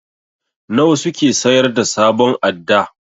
Nawa suke sayar da sabon adda?